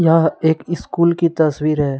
यह एक स्कूल की तस्वीर है।